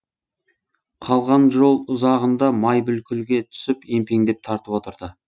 қалған жол ұзағында май бүлкілге түсіп емпеңдеп тартып отырды